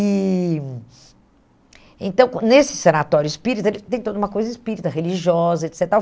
E... Então, nesse sanatório espírita, ele tem toda uma coisa espírita, religiosa, et cetera e tal.